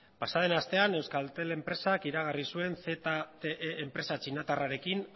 pasaden astean euskaltel enpresak iragarri zuen zte enpresa txinatarrarekin